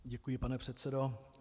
Děkuji, pane předsedo.